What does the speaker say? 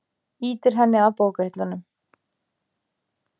Ýtir henni að bókahillunum.